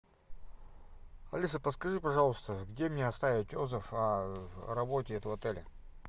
алиса подскажи пожалуйста где мне оставить отзыв о работе этого отеля